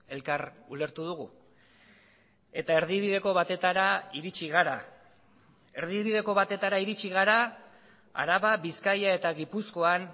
elkar ulertu dugu eta erdibideko batetara iritsi gara erdibideko batetara iritsi gara araba bizkaia eta gipuzkoan